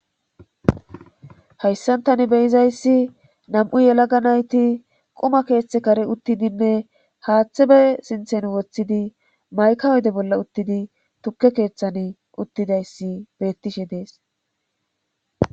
hayssan tani beyizayssi nam7u yelaga nayti quma keeththe karen uttidinne haaththe be sinthen woththidi mayka ode bolla uttidi tukke keeththan uttidayssi bettishe dees